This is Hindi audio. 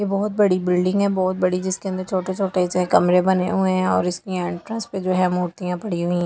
ये बहुत बड़ी बिल्डिंग है बहुत बड़ी जिसके अंदर छोटे-छोटे से कमरे बने हुए हैं और इसकी एंट्रेंस पे जो है मूर्तियां पड़ी हुई--